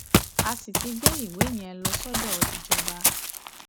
a sì ti gbé ìwé yẹn lọ sọdọ ìjọba